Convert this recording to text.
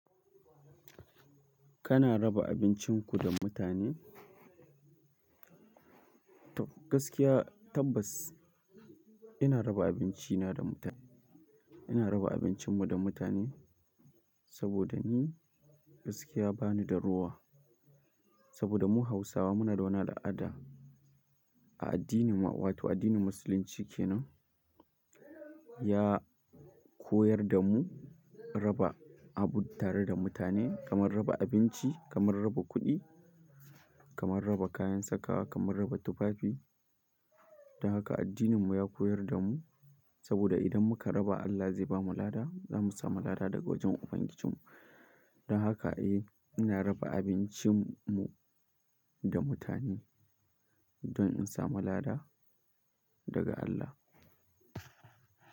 Kana raba abincinku da mutane? Gaskiya tabbas ina raba abinci na da mutane. Ina raba abincin mu da mutane saboda ni gaskiya bani da rowa. Saboda mu Hausawa muna da wani al'ada a addinin mu wato addinin musulunci kenan ya koyar da mu raba abu tare da mutane kamar raba abinci, kamar raba kuɗi, kamar raba kayan sakawa, kamar raba tufafi. Don haka addinin mu ya koyar da mu saboda idan muka raba Allah zai bamu lada, zamu samu lada daga wajen ubangijin mu. Don haka eh ina raba abincin mu da mutane don in samu lada daga Allah.